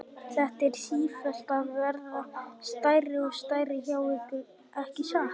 Þetta er sífellt að verða stærra og stærra hjá ykkur, ekki satt?